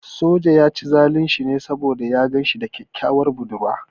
Sojan ya ci zalun shi ne saboda ya gan shi da kyakkyawar budurwa.